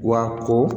Wa ko